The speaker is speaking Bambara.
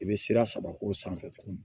I bɛ sira saba k'o sanfɛ tugun